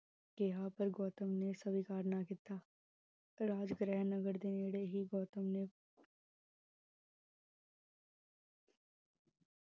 ਕਿਹਾ, ਪਰ ਗੌਤਮ ਨੇ ਸਵੀਕਾਰ ਨਾ ਕੀਤਾ ਰਾਜ ਗ੍ਰਹਿ ਨਗਰ ਦੇ ਨੇੜੇ ਹੀ, ਗੋਤਮ ਨੇ